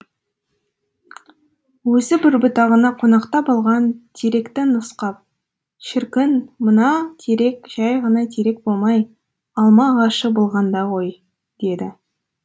өзі бір бұтағына қонақтап алған теректі нұсқап шіркін мына терек жай ғана терек болмай алма ағашы болғанда ғой деді